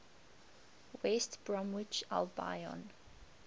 west bromwich albion